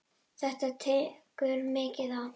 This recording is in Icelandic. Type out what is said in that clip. Þetta tekur mikið á.